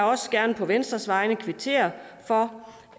også gerne på venstres vegne kvittere for